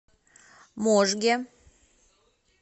можге